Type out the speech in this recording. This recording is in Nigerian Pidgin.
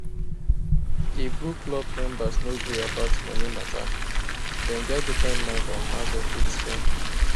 di book club members no gree about money mata dem get different mind on how dem fit spend